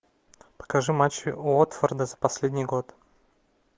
покажи матчи уотфорда за последний год